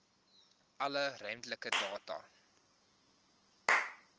alle ruimtelike data